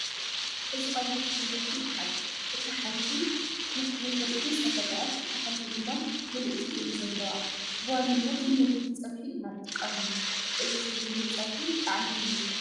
እዚ ቐይሕ ሹጉርቲ ይበሃል እታ ሓንቲ ተፈግኣት ፍርቒ እታ ሓንቲ ድማ ምልዕቲ እየን ዘለዋ ፡ብዋናነት ንምግብነት ፀብሒ ኢና እንጥቐመሉ ፡ እዚ ዘይብሉ ፀብሒ ጣዕሚ የብሉን